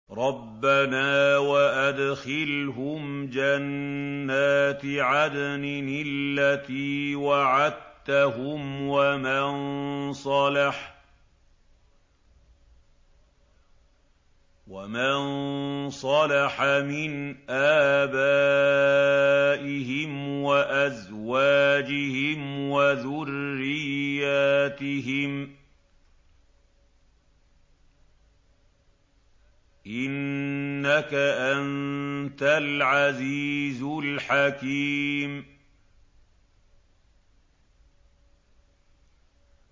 رَبَّنَا وَأَدْخِلْهُمْ جَنَّاتِ عَدْنٍ الَّتِي وَعَدتَّهُمْ وَمَن صَلَحَ مِنْ آبَائِهِمْ وَأَزْوَاجِهِمْ وَذُرِّيَّاتِهِمْ ۚ إِنَّكَ أَنتَ الْعَزِيزُ الْحَكِيمُ